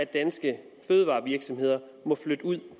danske fødevarevirksomheder må flytte ud